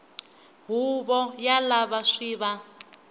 huvo ya lava swi va